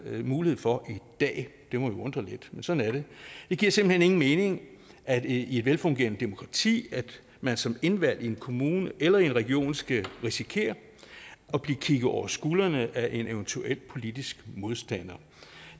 mulighed for i dag det må jo undre lidt men sådan er det det giver simpelt hen ingen mening i et velfungerende demokrati at man som indvalgt i en kommune eller i en region skal risikere at blive kigget over skuldrene af en eventuel politisk modstander